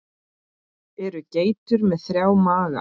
Eru geitur með þrjá maga?